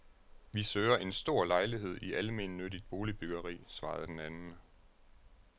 Vi søger en stor lejlighed i almennyttigt boligbyggeri, svarede den anden.